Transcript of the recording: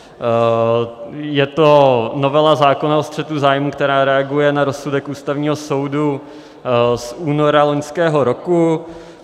Je to novela zákona o střetu zájmů, která reaguje na rozsudek Ústavního soudu z února loňského roku.